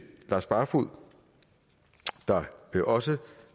lars barfoed der også